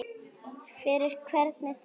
Fyrir hvern þá?